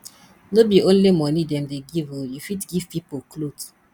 no be only moni dem dey give o you fit give pipo clothes